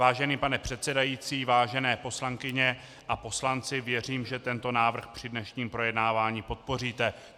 Vážený pane předsedající, vážené poslankyně a poslanci, věřím, že tento návrh při dnešním projednávání podpoříte.